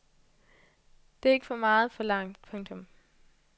Det er ikke for meget forlangt. punktum